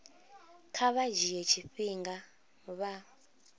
kha vha dzhie tshifhinga vha